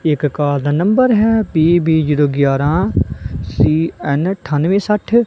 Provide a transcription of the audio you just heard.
ਇਕ ਕਾਰ ਦਾ ਨੰਬਰ ਹੈ ਪੀ_ਬੀ ਜ਼ੀਰੋ ਗਿਆਰਾਹ ਸੀ_ਐਨ ਅਠਾਨਵੇ ਸਠ।